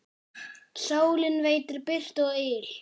Sólin veitir birtu og yl.